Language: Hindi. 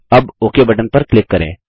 अब ओक बटन पर क्लिक करें